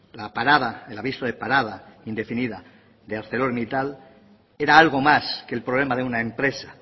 la parada el aviso de parada indefinida de arcelormittal era algo más que el problema de una empresa